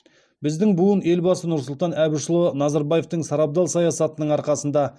біздің буын елбасы нұрсұлтан әбішұлы назарбаевтың сарабдал саясатының арқасында